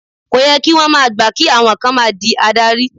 Kó yẹ kí wón máa gbà kí àwọn kan máa di adarí.